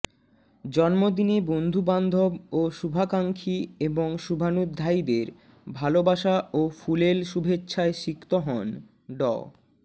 জন্মদিনে বন্ধু বান্ধব ও শুভাকাঙ্ক্ষী এবং শুভানুধ্যায়ীদের ভালোবাসা ও ফুলেল শুভেচ্ছায় সিক্ত হন ড